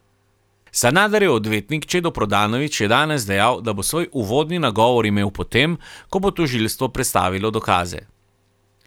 Sanaderjev odvetnik Čedo Prodanović je danes dejal, da bo svoj uvodni nagovor imel potem, ko bo tožilstvo predstavilo dokaze.